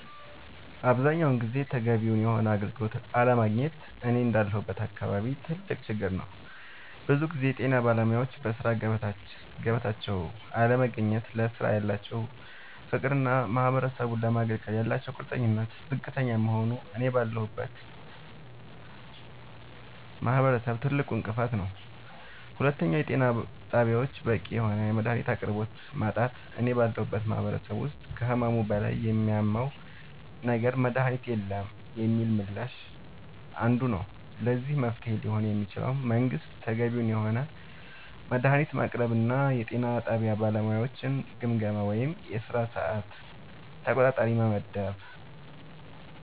አብዛኛውን ጊዜ ተገቢውን የሆነ አገልግሎት አለማግኘት እኔ እንዳለሁበት አካባቢ ትልቅ ችግር ነዉ ብዙ ጊዜ የጤና ባለሙያወች በሥራ ገበታቸው ላይ አለመገኘት ለስራው ያላቸው ፍቅርና ማህበረሰቡን ለማገልገል ያላቸው ቁርጠኝነት ዝቅተኛ መሆኑ እኔ ባለሁበት ማህበረሰብ ትልቁ እንቅፋት ነዉ ሁለተኛው የጤና ጣቢያወች በቂ የሆነ የመድሃኒት አቅርቦት ማጣት እኔ ባለሁበት ማህበረሰብ ውስጥ ከህመሙ በላይ የሚያመው ነገር መድሃኒት የለንም የሚለው ምላሽ አንዱ ነዉ ለዚህ መፍትሄ ሊሆን የሚችለው መንግስት ተገቢውን የሆነ መድሃኒት ማቅረብና የጤና ጣቢያ ባለሙያወችን ግምገማ ወይም የስራ ሰዓት ተቆጣጣሪ መመደብ